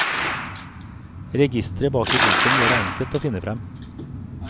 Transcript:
Registeret bak i boken gjør det enkelt å finne frem.